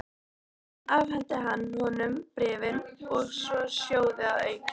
Þar afhenti hann honum bréfin og tvo sjóði að auki.